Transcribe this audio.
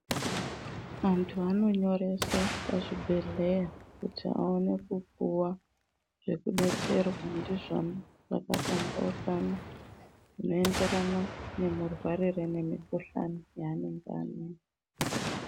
Antu anonyorese pachibhedhleya kuti aone kupuva zvekubetserwa ndizvo zvakapambaukana. Zvinoenderana nemurwarire nemikuhlani yaanenge ainayo.